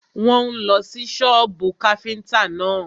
Wọ́n ń lọ sí sọ́bù káfíntà náà.